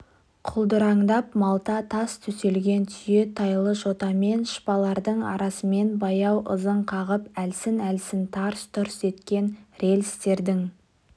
құлдыраңдап малта тас төселген түйе-тайлы жотамен шпалдардың арасымен баяу ызың қағып әлсін-әлсін тарс-тұрс еткен рельстердің